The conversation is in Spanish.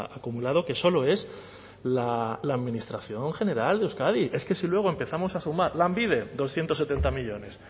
acumulado que solo es la administración general de euskadi es que si luego empezamos a sumar lanbide doscientos setenta millónes